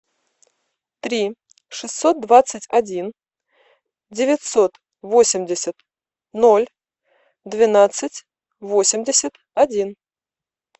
три шестьсот двадцать один девятьсот восемьдесят ноль двенадцать восемьдесят один